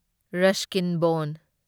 Ruskin ꯕꯣꯟ